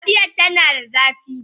Kaciyar tana da zafi